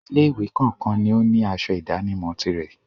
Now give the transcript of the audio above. Ilé-ìwé kọ̀ọ̀kan ni ó ní asọ ìdánimọ̀ tirẹ̀.